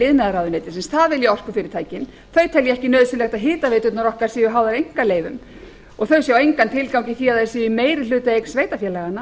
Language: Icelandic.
iðnaðarráðuneytisins það vilja orkufyrirtækin þau telja ekki nauðsynlegt að hitaveiturnar okkar séu háðar einkaleyfum og þau sjá engan tilgang í því að þær séu i meirihlutaeign sveitarfélaganna